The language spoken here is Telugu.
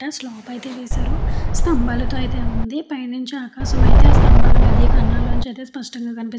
అండ్ స్లాబ్ అయతె వేసారు. ఒక సంభం వుంది. ఆ స్తంభాల మధ ఆకాశం అయితే స్పష్టంగా కనిపిస్తుంది.